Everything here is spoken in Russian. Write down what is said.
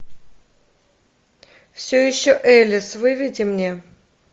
все еще элис выведи мне